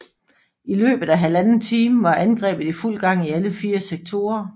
I løbet af 1½ time var angrebet i fuld gang i alle fire sektorer